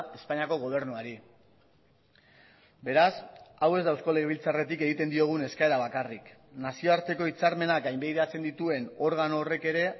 espainiako gobernuari beraz hau ez da eusko legebiltzarretik egiten diogun eskaera bakarrik nazioarteko hitzarmenak gainbegiratzen dituen organo horrek ere